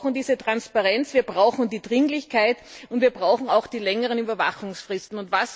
Wir brauchen diese Transparenz, wir brauchen die Dringlichkeit und wir brauchen auch die längeren Überwachungsfristen.